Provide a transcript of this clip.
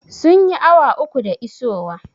Sun yi awa uku da isowa?